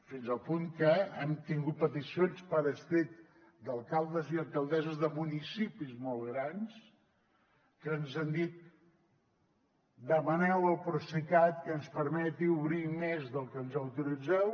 fins al punt que hem tingut peticions per escrit d’alcaldes i alcaldesses de municipis molt grans que ens han dit demaneu al procicat que ens permeti obrir més del que ens autoritzeu